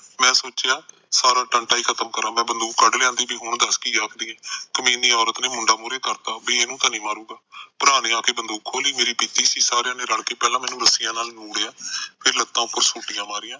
ਮੈ ਸੋਚਿਆ ਸਾਲਾ ਟੰਟਾ ਹੀ ਖਤਮ ਕਰਾ ਮੈ ਬੰਦੁਕ ਕੱਢ ਲਿਆ ਤੇ ਹੁਣ ਦੱਸ ਕੀ ਆਖਦੀਏ ਕਮੀਨੀ ਅੋਰਤ ਨੇ ਮੁੰਡਾ ਮੋਹਰੇ ਕਰਤਾ ਬੀ ਇਹਨੂੰ ਤਾਨੀ ਮਾਰੂਗਾ ਭਰਾ ਨੇ ਆਕੇ ਬੰਦੂਕ ਖੋਲੀ ਮੈ ਪੀਤੀ ਸੀ ਸਾਰਿਆ ਨੇ ਰੱਲ ਕੇ ਰੱਸਿਆ ਨਾਲ ਨੁਰਹਯਾ ਫਿਰ ਲੱਤਾ ਉਤੇ ਸੋਟੀਆਂ ਮਾਰੀਆਂ